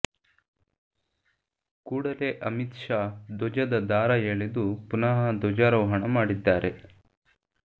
ಕೂಡಲೇ ಅಮಿತ್ ಶಾ ಧ್ವಜದ ದಾರ ಎಳೆದು ಪುನಃ ಧ್ವಜಾರೋಹಣ ಮಾಡಿದ್ದಾರೆ